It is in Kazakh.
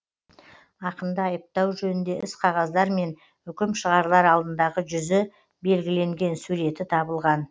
ақынды айыптау жөнінде іс қағаздар мен үкім шығарылар алдындағы жүзі белгіленген суреті табылған